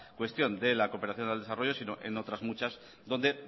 cuestión de la cooperación al desarrollo sino en otras muchas donde